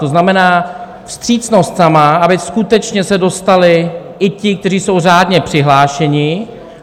To znamená, vstřícnost sama, aby skutečně se dostali i ti, kteří jsou řádně přihlášeni.